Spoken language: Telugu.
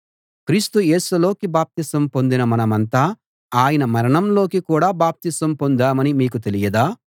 క్రీస్తు యేసులోకి బాప్తిసం పొందిన మనమంతా ఆయన మరణంలోకి కూడా బాప్తిసం పొందామని మీకు తెలియదా